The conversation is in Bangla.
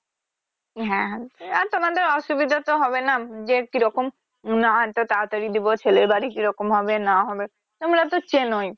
হ্যা সেটা তোমাদের অসুবিধা তো হবে না যে কিরকম উম না এতো তাড়াতাড়ি দিবো ছেলে বাড়ি কিরকম হবে না হবে এগুলা তো চেনই